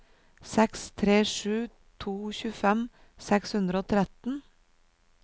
seks tre sju to tjuefem seks hundre og tretten